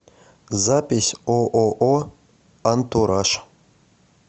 запись ооо антураж